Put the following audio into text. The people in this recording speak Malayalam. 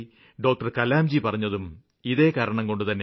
കലാംജി പറഞ്ഞതും ഇതേ കാരണം കൊണ്ടുതന്നെയാണ്